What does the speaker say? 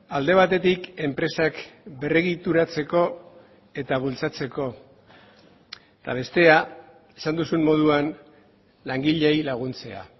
alde batetik enpresak berregituratzeko eta bultzatzeko eta bestea esan duzun moduan langileei laguntzea